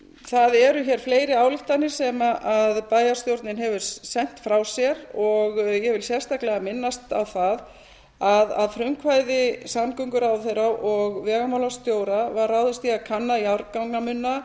það eru hér fleiri ályktanir sem bæjarstjórnin hefur sent frá sér og ég vil sérstaklega minnast á það að að frumkvæði samgönguráðherra og vegamálastjóra var ráðist í að kanna jarðgangamunna